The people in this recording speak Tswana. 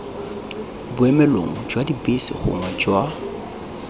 boemelong jwa dibese gongwe jwa